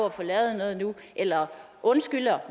at få lavet noget nu eller undskylder